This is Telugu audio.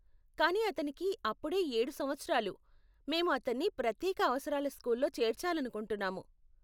కానీ అతనికి అప్పుడే ఏడు సంవత్సరాలు, మేము అతన్ని ప్రత్యేక అవసరాల స్కూల్లో చేర్చాలనుకుంటున్నాము.